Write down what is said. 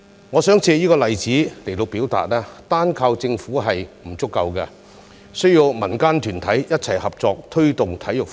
我想藉這個例子說明，單靠政府並不足夠，還需要民間團體一同合作推動體育發展。